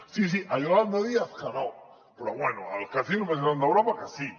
sí sí a yolanda díaz que no però bé al casino més gran d’europa que sí